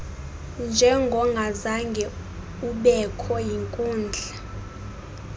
njengongazange ubekho yinkundla